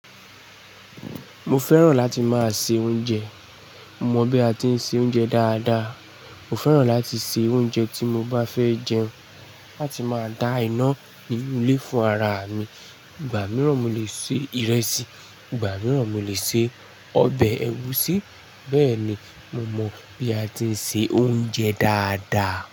Mo fẹ́ràn láti máa se oúnjẹ. Mo mọ̀ bí a ti ń se oúnjẹ dáadáa. Mo fẹ́ràn láti se oúnjẹ tí mo bá fẹ́ jẹun láti máa dá iná ní ilé fún ara mi. Ìgbà mìíràn mo lè se ìrẹsì, ìgbà mìíràn mo lè se ọbẹ̀ ẹgusí, bẹ́ẹ̀ ni mo mọ bí a ti ń se oúnjẹ dáadáa.